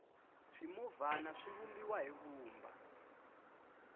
swimovhana swi vumbiwa hi vumba